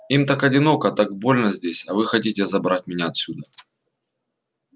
им так одиноко так больно здесь а вы хотите забрать меня отсюда